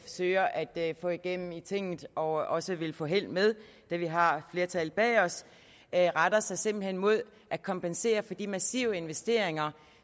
søger at få igennem tinget og også vil få held med da vi har et flertal bag os retter sig simpelt hen mod at kompensere for de massive investeringer